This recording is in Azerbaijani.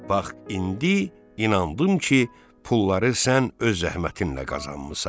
Bax indi inandım ki, pulları sən öz zəhmətinlə qazanmısan.